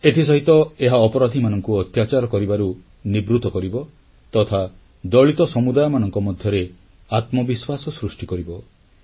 ଏଥିସହିତ ଏହା ଅପରାଧିମାନଙ୍କୁ ଅତ୍ୟାଚାର କରିବାରୁ ନିବୃତ କରିବ ତଥା ଦଳିତ ସମୁଦାୟମାନଙ୍କ ମଧ୍ୟରେ ଆତ୍ମବିଶ୍ୱାସ ସୃଷ୍ଟି କରିବ